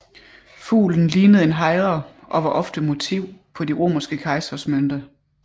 Fuglen lignede en hejre og var ofte motiv på de romerske kejseres mønter